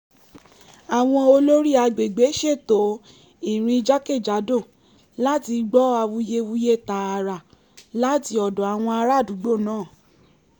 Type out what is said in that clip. àwọn olórí agbègbè ṣètò ìrìn jákèjádò láti gbọ́ awuyewuye tààrà láti ọ̀dọ̀ àwọn ará àdúgbò náà